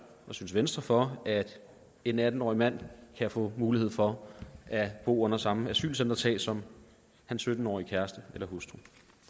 og synes venstre for at en atten årig mand kan få mulighed for at bo under samme asylcentertag som sin sytten årige kæreste eller hustru